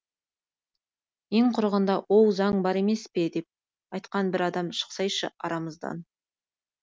ең құрығанда оу заң бар емес пе деп айтқан бір адам шықсайшы арамыздан